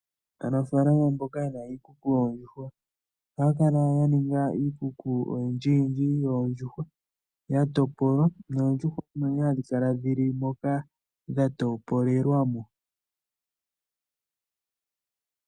Aanafaalama mboka yena iikuku yoondjuhwa ohaya kala yaninga iikuku oyindji yindji yoondjuhwa yatopolwa noondjuhwa omo ne hadhikala dhili moka dhatopolelwa mo.